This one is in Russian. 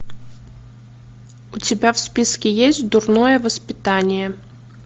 у тебя в списке есть дурное воспитание